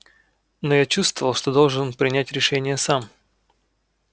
но я чувствовал что должен принять решение сам